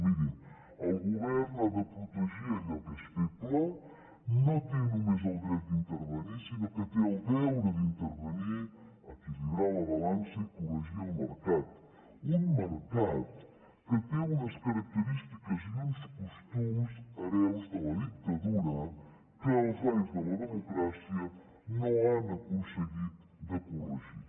mirin el govern ha de protegir allò que és feble no té només el dret d’intervenir sinó que té el deure d’intervenir equilibrar la balança i corregir el mercat un mercat que té unes característiques i uns costums hereus de la dictadura que els anys de la democràcia no han aconseguit de corregir